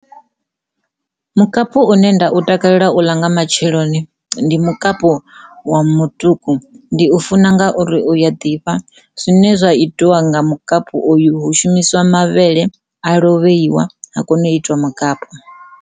Mukapu une nda u takalela u ḽa nga matsheloni ndi mukapu wa, wa mutuku ndi u funa ngauri u a ḓifha. Zwine zwa itiwa nga mukapu oyu hu shumisiwa mavhele a lovheiwa ha kona u itiwa mukapu.